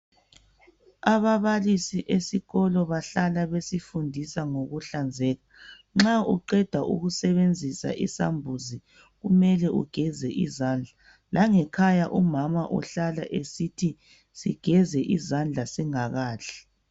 Ababalisi esikolo bahlala besifundisa ngokuhlanzeka. Nxa uqeda ukusebenzisa isambuzi kumele ugeze izandla. Langekhaya umama uhlala esithi sigeze izandla singakadli